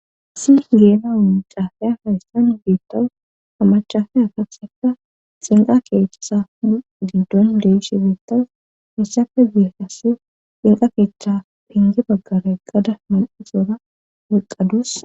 isi geena umucaafiya haystan geettawu hamachafe akabseka xinqa keethaa giddon leshi beettas misafe ziehasi xinqa keetchctha phenge baggare gada man7isoora waqqadus